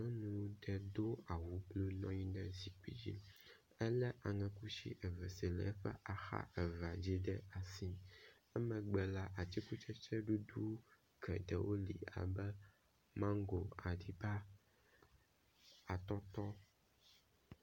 Nyɔnu ɖe do awu blu nɔ anyi ɖe zikpui dzi, elé aŋe kusi eve aɖe si le eƒe axa evea dzi ɖe asi. Emegbe la, atikutsetse bubu geɖewo li abe mango, aɖiba, atɔtɔ.